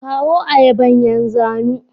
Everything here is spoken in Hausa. kawo ayaban yan zanu.